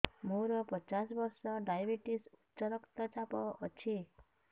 ମୋର ପଚାଶ ବର୍ଷ ଡାଏବେଟିସ ଉଚ୍ଚ ରକ୍ତ ଚାପ ଅଛି